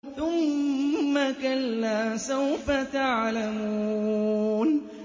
ثُمَّ كَلَّا سَوْفَ تَعْلَمُونَ